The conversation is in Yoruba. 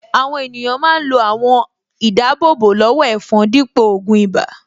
Àwọn ènìyàn máa ń lo àwọn àwọ̀n-ìdáábò-lọ́wọ́-ẹ̀fọn dípò ògùn ibà